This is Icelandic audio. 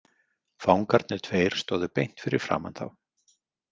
Fangarnir tveir stóðu beint fyrir framan þá.